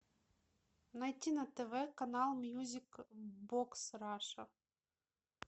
найти на тв канал мьюзик бокс раша